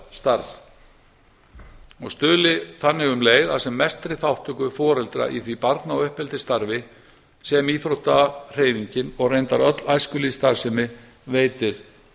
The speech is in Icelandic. sjálfboðaliðastarf og stuðli þannig um leið að sem mestri þátttöku foreldra í því barna og uppeldisstarfi sem íþróttahreyfingin og reyndar öll æskulýðsstarfsemi veitir